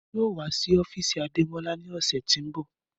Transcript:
Emi yoo wa si ofiisi Ademọla ni ọsẹ ti n bọ